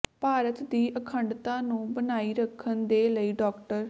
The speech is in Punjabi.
ਭਾਰਤ ਦੀ ਅਖੰਡਤਾ ਨੂੰ ਬਣਾਈ ਰੱਖਣ ਦੇ ਲਈ ਡਾ